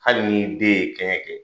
Hali ni den ye kɛɲɛ kɛ!